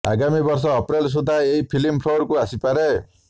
ଆଗାମୀ ବର୍ଷ ଅପ୍ରେଲ ସୁଦ୍ଧା ଏହି ଫିଲ୍ମ ଫ୍ଲୋରକୁ ଆସିପାରେ